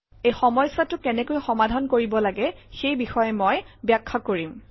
এই সমস্যা কেনেকৈ সমাধান কৰিব লাগে সেই বিষয়ে মই ব্যাখ্যা কৰিম